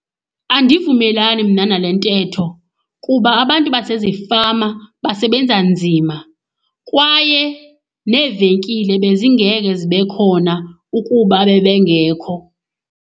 Andivumelani mna nale ntetho kuba abantu basezifama basebenza nzima, kwaye neevenkile bezingeke zibe khona ukuba bebengekho.